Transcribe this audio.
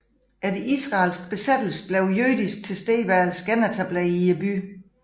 Efter israelsk besættelse blev jødisk tilstedeværelse genetableret i byen